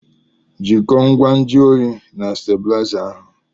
jikọọ ngwa nju oyi na stábịlịzá ahụ